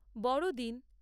বড়দিন